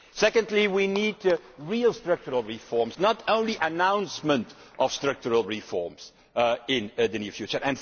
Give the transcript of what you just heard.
Secondly, we need real structural reforms not only the announcement of structural reforms in the near future.